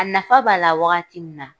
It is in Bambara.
A nafa b'a la wagati min na